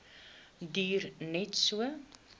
duur net so